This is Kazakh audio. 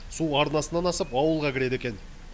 су арнасынан асып ауылға кіреді екен